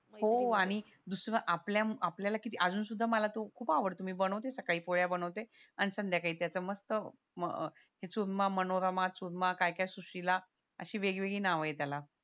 हो आणि आपल्या आपल्याला किती अजून सुद्धा मला तो खूप आवडतो मी बनवते सकाळी पोळ्या बनवते आणि संध्याकाळी त्याच मस्त अह चूरमा मनोरमा चुरमा काय काय सुशीला अशी वेगवेगळी नाव ये त्याला